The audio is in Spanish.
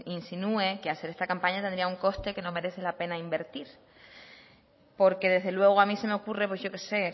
insinúe que hacer esta campaña tendría un coste que no merece la pena invertir porque desde luego a mí se me ocurre pues yo que sé